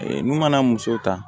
Ee n'u mana muso ta